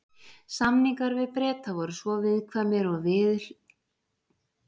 Samningar við Breta voru svo viðkvæmir og viðurhlutamiklir, að enginn stuðningsflokkur stjórnarinnar mátti sitja hjá.